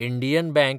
Indian bank